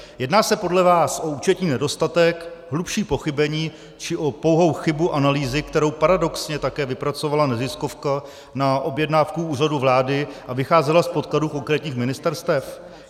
Jedná se podle vás o účetní nedostatek, hlubší pochybení, či o pouhou chybu analýzy, kterou paradoxně také vypracovala neziskovka na objednávku Úřadu vlády, a vycházela z podkladů konkrétních ministerstev?